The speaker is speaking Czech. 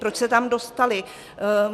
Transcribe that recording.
Proč se tam dostaly?